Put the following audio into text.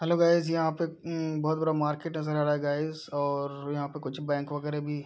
hello guys यहाँ पे उम्म बहोत बरा मार्केट नज़र आ रहा है गाइज और यहाँ पे कुछ बैंक वगेरा भी --